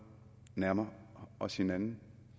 nærmer os hinanden